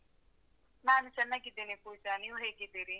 ನಾನು ಚೆನ್ನಾಗಿದ್ದೇನೆ ಪೂಜಾ. ನೀವ್ ಹೇಗಿದ್ದೀರಿ?